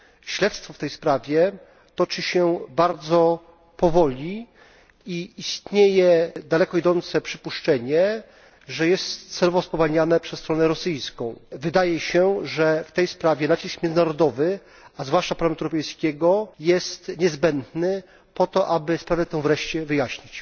Śledztwo w tej sprawie toczy się bardzo powoli i istnieje daleko idące przypuszczenie, że jest celowo spowalniane przez stronę rosyjską. Wydaje się, że w tej sprawie nacisk międzynarodowy, a zwłaszcza Parlamentu Europejskiego, jest niezbędny po to, aby sprawę tę wreszcie wyjaśnić.